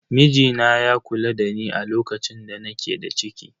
Mijina ya kula dani a lokacin da nake da ciki.